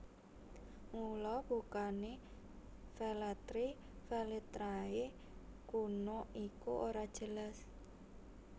Mula bukané Velletri Velitrae kuna iku ora jelas